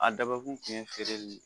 A dabɔ kun ye feere de ye